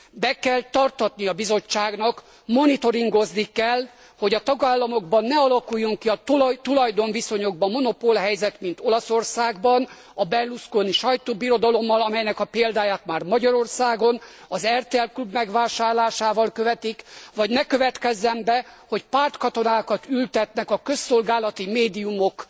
Be kell tartatnia a Bizottságnak, monitoringozni kell, hogy a tagállamokban ne alakuljon ki a tulajdonviszonyokban monopolhelyzet, mint Olaszországban a Berlusconi sajtóbirodalommal, amelynek a példáját már Magyarországon az RTL Klub megvásárlásával követik, vagy ne következzen be, hogy pártkatonákat ültetnek a közszolgálati médiumok